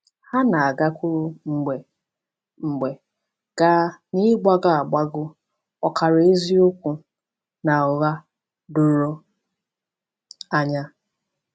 Ha na-agakwuru mgbe mgbe gaa n’ịgbagọ agbagọ, ọkara eziokwu, na ụgha doro anya.